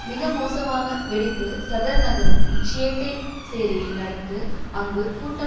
மிக மோசமான வெடிப்பு சதர் நகரத்தின் ஷியைட்டை சேரியில் நடந்தது அங்கு கூட்டம்